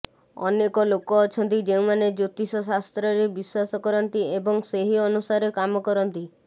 ଅନେକ ଲୋକ ଅଛନ୍ତି ଯେଉଁମାନେ ଜ୍ୟୋତିଷ ଶାସ୍ତ୍ରରେ ବିଶ୍ୱାସ କରନ୍ତି ଏବଂ ସେହି ଅନୁସାରେ କାମ କରନ୍ତି